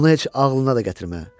Bunu heç ağlına da gətirmə.